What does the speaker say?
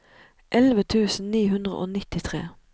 elleve tusen ni hundre og nittitre